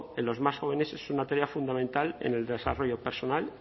en los más jóvenes es una tarea fundamental en el desarrollo personal